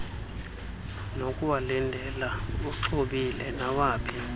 nokuwalindela uxhobile nawaphi